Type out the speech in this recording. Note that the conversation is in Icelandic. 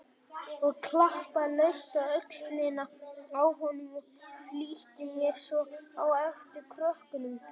Ég klappaði laust á öxlina á honum og flýtti mér svo á eftir krökkunum.